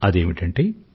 అదేమిటంటే